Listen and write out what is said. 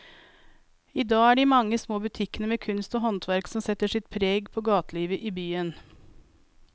I dag er det de mange små butikkene med kunst og håndverk som setter sitt preg på gatelivet i byen.